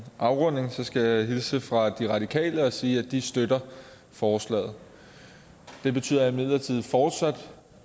afrunding skal jeg hilse fra de radikale og sige at de støtter forslaget det betyder imidlertid fortsat